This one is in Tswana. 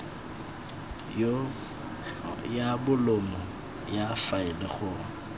ya bolumo ya faele go